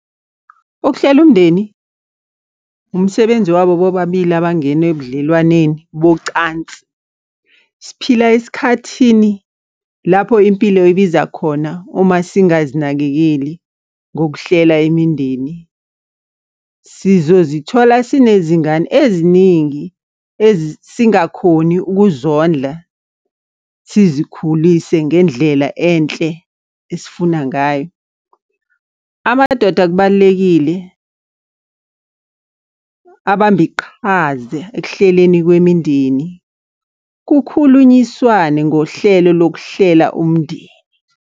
Ukuhlela umndeni, umsebenzi wabo bobabili abangena ebudlelwaneni bocansi. Siphila esikhathini lapho impilo ibiza khona. Uma singazinakekeli ngokuhlela imindeni sizozithola sinezingane eziningi esingakhoni ukuzondla, sizikhulise ngendlela enhle esifuna ngayo. Amadoda kubalulekile abambe iqhaza ekuhleleni kwemindeni. Kukhulunyiswane ngohlelo lokuhlela umndeni.